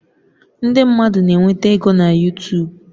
Ndị mmadụ na-enweta ego na YuTub